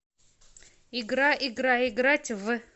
игра игра играть в